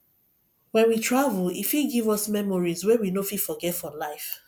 when we travel e fit give us memories wey we no fit forget for life